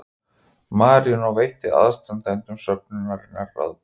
Marínó veitti aðstandendum söfnunarinnar ráðgjöf